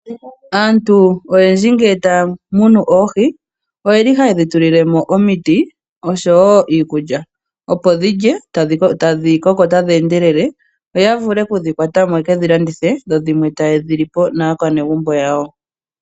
Aantu oyendji ngele taya munu oohi oyeli haye dhi tulilemo omiti oshowo iikulya opo dhilye tadhi koko tadhi endelele yo ya vule okudhi kwatamo yekedhilandithe dho dhimwe taye dhi li po naakwanezimo yawo